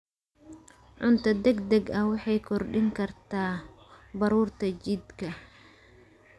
Cunto degdeg ah waxay kordhin kartaa baruurta jidhka.